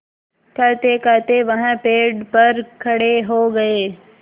कहतेकहते वह पेड़ पर खड़े हो गए